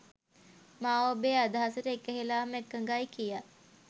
මා ඔබේ අදහසට එකහෙලාම එකඟයි කියා.